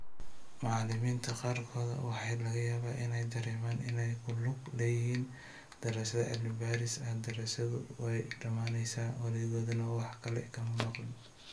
Macallimiinta qaarkood, waxaa laga yaabaa inay dareemaan inay ku lug leeyihiin daraasad cilmi-baaris ah, daraasaddu way dhammaanaysaa, waligoodna wax kale kama maqlin.